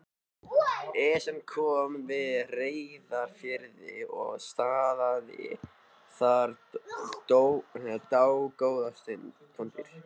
Esjan kom við á Reyðarfirði og stansaði þar dágóða stund.